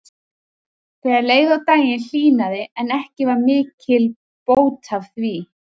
Þegar leið á daginn hlýnaði en ekki var mikil bót að því.